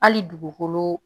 Hali dugukolo